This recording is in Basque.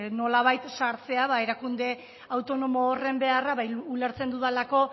nolabait sartzea erakunde autonomo horren beharra ulertzen dudalako